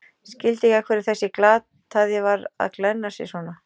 Skildi ekki af hverju þessi glataði var að glenna sig svona.